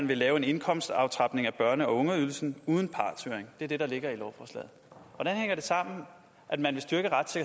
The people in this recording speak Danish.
lave en indkomstaftrapning af børne og ungeydelsen uden partshøring det er det der ligger i lovforslaget hvordan hænger det sammen at man